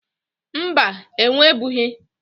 Mba, enwebughi.